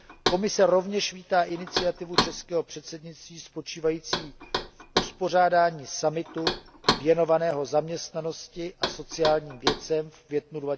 Komise rovněž vítá iniciativu českého předsednictví spočívající v uspořádání summitu věnovaného zaměstnanosti a sociálním věcem v květnu